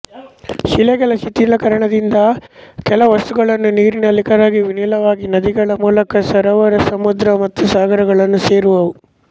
ಶಿಲೆಗಳ ಶಿಥಿಲೀಕರಣದಿಂದಾದ ಕೆಲವು ವಸ್ತುಗಳು ನೀರಿನಲ್ಲಿ ಕರಗಿ ವಿಲೀನವಾಗಿ ನದಿಗಳ ಮೂಲಕ ಸರೋವರ ಸಮುದ್ರ ಮತ್ತು ಸಾಗರಗಳನ್ನು ಸೇರುವುವು